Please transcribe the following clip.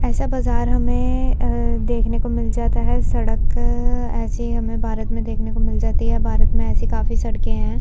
ऐसा बाजार हमें देखने को मिल जाता है। सड़क ऐसी हमें भारत में देखने को मिल जाती है। भारत में ऐसी काफी सड़के हैं।